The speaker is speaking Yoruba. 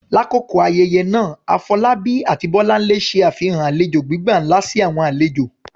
Lakoko ayẹyẹ naa, Afolabi ati Bolanle ṣe afihan alejo gbigba nla si awọn alejo.